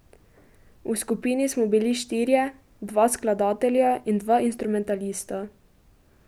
V skupini smo bili štirje, dva skladatelja in dva instrumentalista.